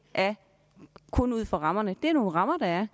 kun afgøres ud fra rammerne det er nogle rammer der er